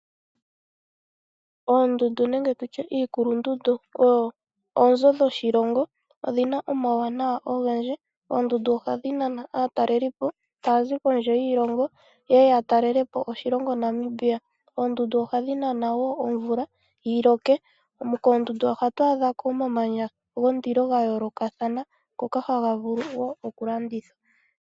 Oondundu nenge tu tye iikulundundu odho oonzo dhoshilongo. Odhi na omauwanawa ogendji. Oondundu ohadhi nana aatalelipo taya zi kondje yoshilongo ye ye ya talele po oshilongo Namibia. Oondundu ohadhi nana wo omvula yi loke. Koondundu ohatu adha ko omamanya gondilo ga yoolokathana ngoka haga vulu wo okulandithwa.